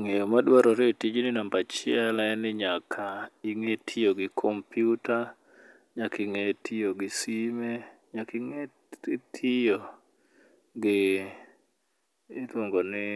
Ng'eyo madwarore e tijni namba achiel en ni nyaka ing'e tiyo gi kompiuta, nyaka ing'e tiyo gi sime , nyaka ing'e tiyo gi iluongo ni